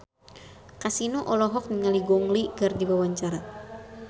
Kasino olohok ningali Gong Li keur diwawancara